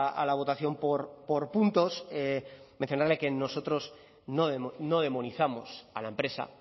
a la votación por puntos mencionarle que nosotros no demonizamos a la empresa